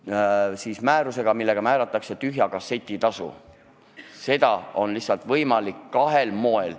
Lihtsalt määrusega, millega määratakse tühja kasseti tasu, on seda võimalik teha kahel moel.